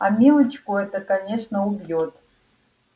а милочку это конечно убьёт